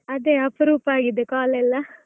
ಅದೇ ಅಪರೂಪ ಆಗಿದೆ call ಎಲ್ಲಾ.